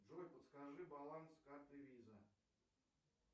джой подскажи баланс карты виза